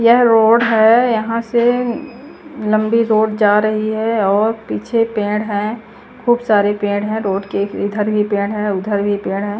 यह रोड है यहां से लंबी रोड जा रही है और पीछे पेड़ है खूब सारे पेड़ हैं रोड के इधर ही पेड़ है उधर भी पेड़ है।